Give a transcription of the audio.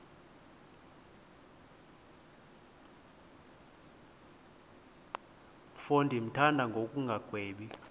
mfo ndimthanda ngokungagwebi